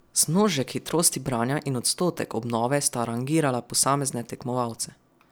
Zmnožek hitrosti branja in odstotek obnove sta rangirala posamezne tekmovalce.